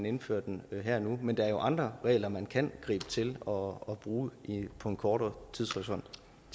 indfører den her og nu men der er jo andre regler man kan gribe til og bruge inden for en kortere tidshorisont